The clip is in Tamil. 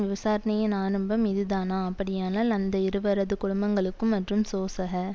விசாரணையின் ஆரம்பம் இதுதானா அப்படியானால் அந்த இருவரதும் குடும்பங்களுக்கும் மற்றும் சோசக